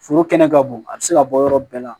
Foro kɛnɛ ka bon a bɛ se ka bɔ yɔrɔ bɛɛ la